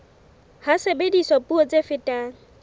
ha sebediswa puo tse fetang